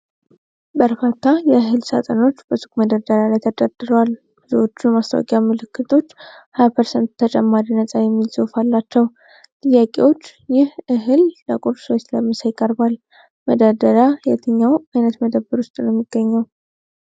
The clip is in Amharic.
በርካታ የእህል ሳጥኖች በሱቅ መደርደሪያ ላይ ተደርድረዋል። ብዙዎቹ የማስታወቂያ ምልክቶች "20% ተጨማሪ ነፃ" የሚል ጽሑፍ አላቸው። ጥያቄዎች: ይህ እህል ለቁርስ ወይም ለምሳ ይቀርባል? መደርደሪያው የትኛው ዓይነት መደብር ውስጥ ነው የሚገኘው?